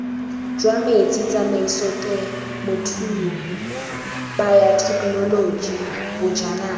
jwa metsi tsamaisotemothuo bayothekenoloji bojanala